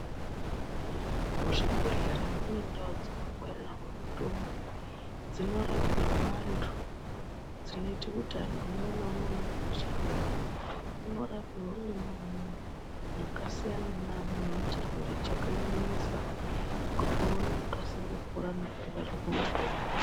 Mu zvibhedhlera mune ndau dzino ngwarirwa mutombo dzino rapirwa antu dzinoite kuti antu umwe na umwe unenge echi rwara uno rapirwa mwona imomo maka siyana ne amweni une chirwere cheku nyanyisa kuti uone ku kasira kupora.